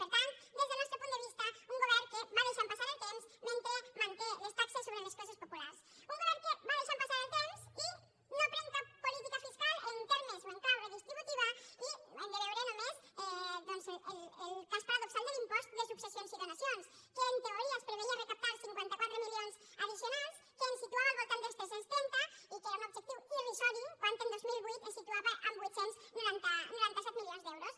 per tant des del nostre punt de vista un govern que va deixant passar el temps mentre manté les taxes sobre les classes populars un govern que va deixant passar el temps i no pren cap política fiscal en termes o en clau redistributiva i hem de veure només doncs el cas paradoxal de l’impost de successions i donacions que en teoria es preveia recaptar cinquanta quatre milions addicionals que ens situava al voltant dels tres cents i trenta i que era un objectiu irrisori quan el dos mil vuit es situava en vuit cents i noranta set milions d’euros